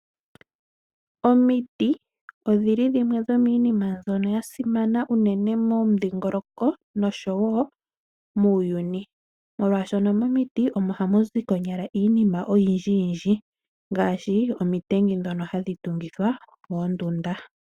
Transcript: Omiti odhili dhimwe dhomiinima mbyono yasimana unene momidhingoloko nosho wo muuyuni. Molwashoka momiti omo hamuzi konyala iinima oyindji ngaashi omitengi ndhono hadhi tungithwa oondunda.